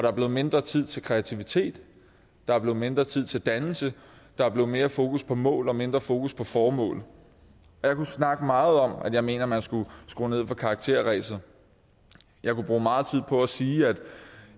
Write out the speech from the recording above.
er blevet mindre tid til kreativitet der er blevet mindre tid til dannelse der er blevet mere fokus på mål og mindre fokus på formål jeg kunne snakke meget om at jeg mener at man skulle skrue ned for karakterræset jeg kunne bruge meget tid på at sige at